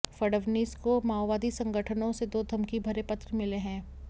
फडणवीस को माओवादी संगठनों से दो धमकी भरे पत्र मिले हैं